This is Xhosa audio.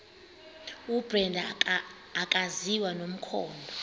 ubrenda akaziwa nomkhondo